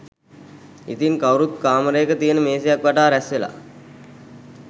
ඉතින් කවුරුත් කාමරයක තියන මේසයක් වටා රැස්වෙලා